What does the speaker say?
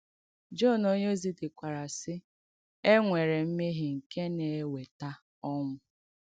Jọn onyèózì dèkwàrà, sị: “E nwèrè m̀mèhiè nké nà-èwétà ònwū.”